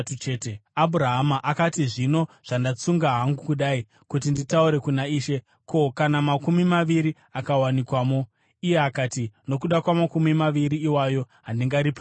Abhurahama akati, “Zvino zvandatsunga hangu kudai kuti nditaure kuna Ishe, ko, kana makumi maviri akawanikwamo?” Iye akati, “Nokuda kwamakumi maviri iwayo, handingariparadzi.”